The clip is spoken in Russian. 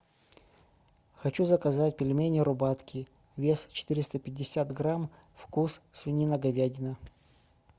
хочу заказать пельмени рубатки вес четыреста пятьдесят грамм вкус свинина говядина